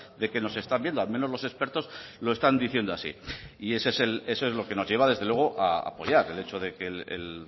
de que nos están viendo al menos los expertos lo están diciendo así y eso es lo que nos lleva desde luego a apoyar el hecho de que el